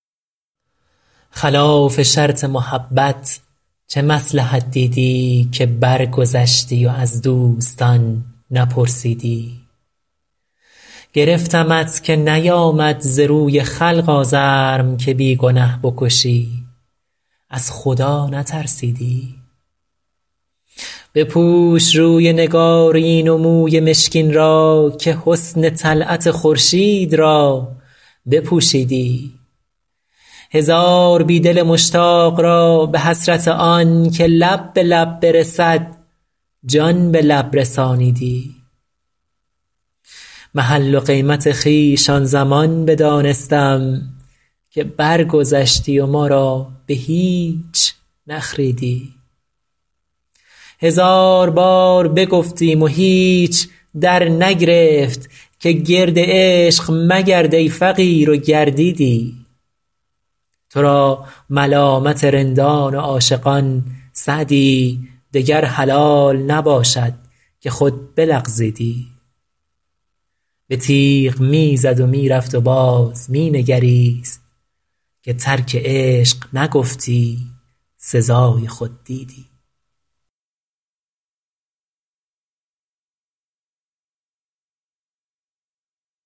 خلاف شرط محبت چه مصلحت دیدی که برگذشتی و از دوستان نپرسیدی گرفتمت که نیآمد ز روی خلق آزرم که بی گنه بکشی از خدا نترسیدی بپوش روی نگارین و موی مشکین را که حسن طلعت خورشید را بپوشیدی هزار بی دل مشتاق را به حسرت آن که لب به لب برسد جان به لب رسانیدی محل و قیمت خویش آن زمان بدانستم که برگذشتی و ما را به هیچ نخریدی هزار بار بگفتیم و هیچ درنگرفت که گرد عشق مگرد ای فقیر و گردیدی تو را ملامت رندان و عاشقان سعدی دگر حلال نباشد که خود بلغزیدی به تیغ می زد و می رفت و باز می نگریست که ترک عشق نگفتی سزای خود دیدی